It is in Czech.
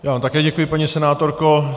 Já vám také děkuji, paní senátorko.